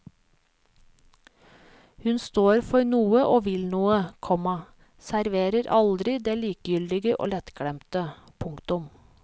Hun står for noe og vil noe, komma serverer aldri det likegyldige og lettglemte. punktum